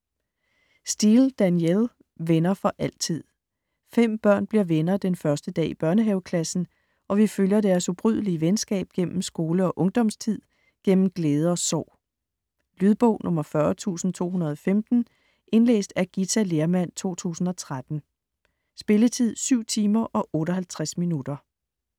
Steel, Danielle: Venner for altid Fem børn bliver venner den første dag i børnehaveklassen, og vi følger deres ubrydelige venskab gennem skole- og ungdomstid, gennem glæde og sorg. Lydbog 40215 Indlæst af Githa Lehrmann, 2013. Spilletid: 7 timer, 58 minutter.